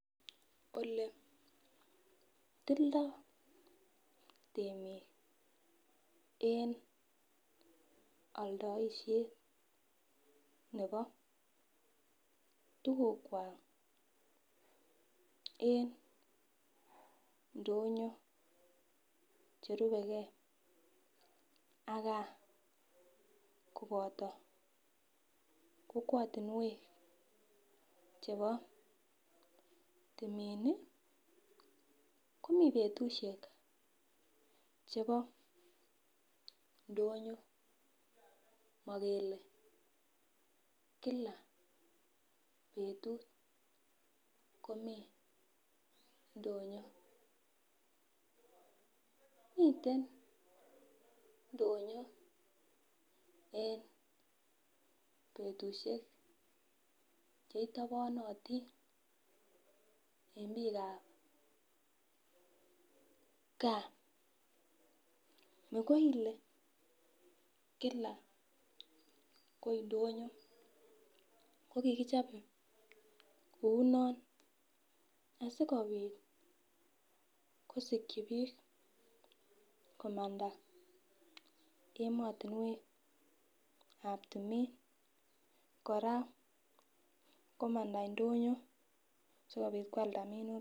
Ole tildo temik en aldaishet nebo tugukwak en ndonyo cherubegee ak gaa koboto kokwotinwek chebo timin ii komii betusiek chebo ndonyo mokele kila betut komii ndonyo. Miten ndonyon en betusiek chei tabanitin en biikab gaa makoile kila koi ndonyo kokikichob kou noton asikobit kosikyi biik komanda emotinwekab timin kora komanda ndonyo sikobit kwalda minutik.